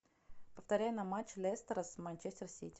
повторяй нам матч лестера с манчестер сити